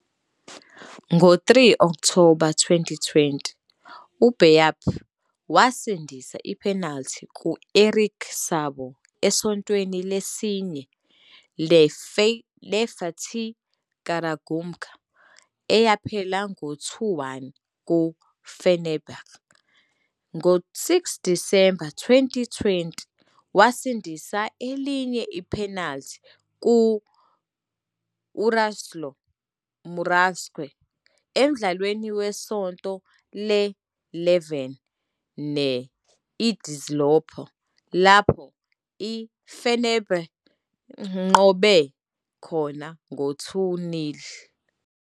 Ngo-3 October 2020, uBayдыр wasindisa i-penalty kU-Erik Sabo esontweni lesine ne-I-Fatih Karagümrük eyaphela ngo-2-1 ku-Fenerbahçe. Ngo-6 Disemba 2020, wasindisa elinye i-penalty, ku-URadosław Murawski, emdlalweni wesonto le-11 ne-I-Denizlispor lapho i-Fenerbahçe inqobe khona ngo-2-0.